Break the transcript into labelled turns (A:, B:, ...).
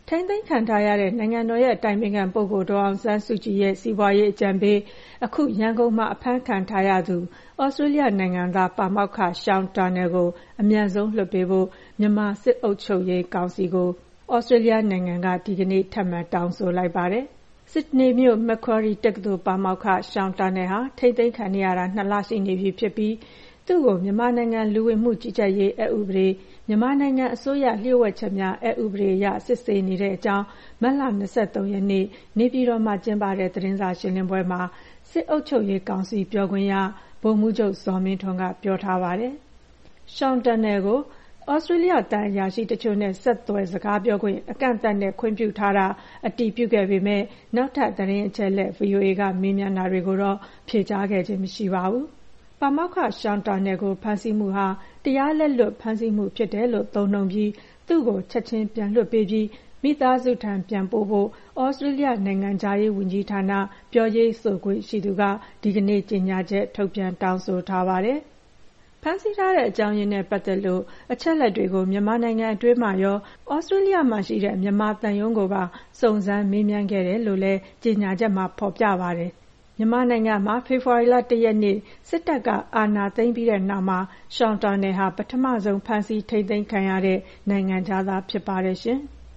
A: ထိန်းသိမ်းခံထားရတဲ့ နိုင်ငံတော်အတိုင်ပင်ခံပုဂ္ဂိုလ် ဒေါ်အောင်ဆန်းစုကြည်ရဲ့ စီးပွားရေးအကြံပေးဖြစ်သူ အခု မြန်မာနိုင်ငံမှာ အဖမ်းခံထားရတဲ့ သြစတြေးလျနိုင်ငံသား ပါမောက္ခ Sean Turnell ကို အမြန်ဆုံး ပြန်လွှတ်ပေးဖို့ မြန်မာစစ်အုပ်ချုပ်ရေးကောင်စီကို သြစတြေးလျနိုင်ငံက ဒီကနေ့ ထပ်မံ တောင်းဆိုလိုက်ပါတယ်။ ဆစ်ဒနီမြို့ Macquarie တက္ကသိုလ် ပါမောက္ခ Sean Turnell ဟာ ထိန်းသိမ်းခံနေရတာ ၂ လရှိပြီဖြစ်ပြီး သူ့ကို မြန်မာနိုင်ငံ လူဝင်မှုကြီးကြပ်ရေးအက်ဥပဒေ၊ မြန်မာနိုင်ငံ အစိုးရလျှို့ဝှက်ချက်များ အက်ဥပဒေအရ စစ်ဆေးနေတဲ့အကြောင်း မတ်လ ၂၃ ရက်နေ့ နေပြည်တော်မှာကျင်းပတဲ့ သတင်းစာရှင်းလင်းပွဲမှာ စစ်အုပ်ချုပ်ရေးကောင်စီ ပြောခွင့်ရ ဗိုလ်မှူးချုပ် ဇော်မင်းထွန်းက ပြောဆိုထားပါတယ်။ Sean Turnell ကို သြစတြေးလျ သံအရာရှိတချို့နဲ့ ဆက်သွယ် စကားပြောခွင့် အကန့်အသတ်နဲ့ ခွင့်ပြုထားတာ အတည်ပြုခဲ့ပေမယ့် နောက်ထပ် သတင်းအချက်အလက် VOA က မေးမြန်းတာတွေကိုတော့ ဖြေကြားခဲ့ခြင်းမရှိပါဘူး။ ပါမောက္ခ Sean Turnell ကို ဖမ်းဆီးမှုဟာ တရားလက်လွတ် ဖမ်းဆီးမှုဖြစ်တယ်လို့ သုံးနှုန်းပြီး သူ့ကို ချက်ခြင်း ပြန်လွှတ်ပေးပြီး မိသားစုထံ ပြန်ပို့ဖို့ သြစတြေးလျ နိုင်ငံခြားရေးဝန်ကြီးဌာန ပြောရေးဆိုခွင့် ရှိသူက ဒီကနေ့ ကြေညာချက် ထုတ်ပြန် တောင်းဆိုထားပါတယ်။ ဖမ်းဆီးထားတဲ့ အကြောင်းရင်းနဲ့ ပတ်သက်လို့ အချက်အလက်တွေကို မြန်မာနိုင်ငံ အတွင်းမှာရော၊ သြစတြေးလျမှာရှိတဲ့ မြန်မာသံရုံးကိုပါ စုံစမ်းမေးမြန်းခဲ့တယ်လို့ ကြေညာချက်မှာ ဖော်ပြထားပါတယ်။ မြန်မာနိုင်ငံမှာ ဖေဖော်ဝါရီ ၁ ရက်နေ့ စစ်တပ်က အာဏာသိမ်းပြီးတဲ့ နောက်ပိုင်းမှာ Sean Turnell ဟာ ပထမဆုံးဖမ်းဆီး ထိန်းသိမ်းခံရတဲ့နိုင်ငံခြားသား ဖြစ်ပါတယ်။